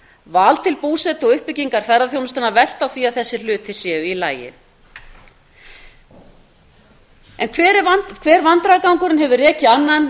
val til búsetu og uppbygging ferðaþjónustunnar velta á því að þessir hlutir séu í lagi hver vandræðagangurinn hefur rekið annan